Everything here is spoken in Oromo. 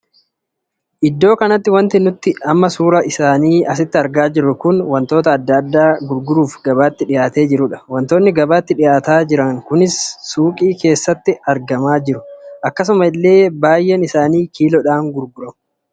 Iddoo kanatti wanti nuti amma suuraa isaanii asitti argaa jirru kun wantoota addaa addaa gurguraaf gabaatti dhihaatee jirudha. wantoonni gabaatti dhihaatanii jiran kunis suukii keessatti argamaa jiru. akkasuma illee baay'een isaanii kiiloodha gurguramu.